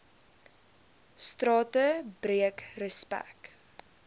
strate breek respek